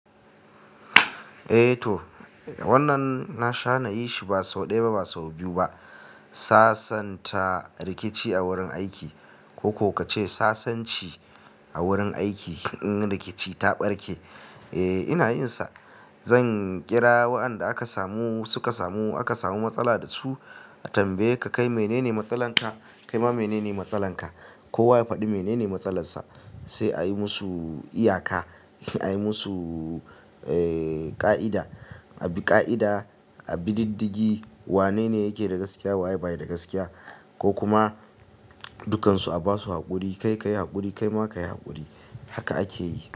Eh to, wannan na sha na yi shi ba sau ɗaya ba, ba sau biyu ba. Sasanta rikici a wurin aiki ko ko kace sassanci a wurin aiki in rikici ta barke eh inayinsa Zan kira waɗanda aka samu, suka samu, aka samu matsala da su a tambaye ka kai menene matsalanka? Kai ma menene matsalanka? Kowa ya faɗi menene matsalar sa, sai a yi musu iyaka, a yi musu, eh ƙa'ida. A bi ka'ida abi diddigi. Wane ne yake da gaskiya? Wa yake bayin da gaskiya? Ko kuma dukansu a basu haƙuri. Kai ka yi haƙuri, kai ma ka yi haƙuri. Haka ake yi.